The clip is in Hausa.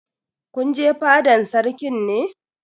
Kun je fadan Sarkin ne?